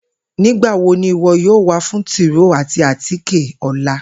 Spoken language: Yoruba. Nigbawo ni iwọ yoo wa fun tróó ati átíké ọla?